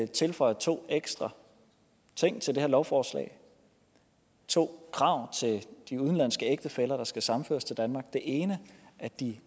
tilføje to ekstra ting til det her lovforslag to krav til de udenlandske ægtefæller der skal sammenføres til danmark det ene er at de